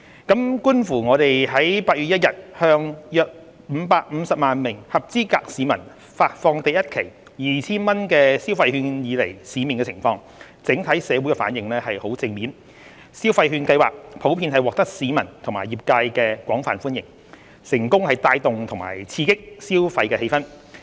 觀乎我們於8月1日向約550萬名合資格市民發放第一期 2,000 元消費券以來市面的情況，整體社會的反應十分正面，消費券計劃普遍獲得市民及業界廣泛歡迎，成功帶動及刺激消費氣氛。